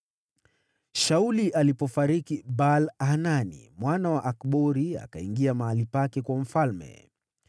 Shauli alipofariki, Baal-Hanani mwana wa Akbori akawa mfalme baada yake.